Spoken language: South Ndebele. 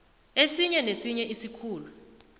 esinye nesinye isikhulu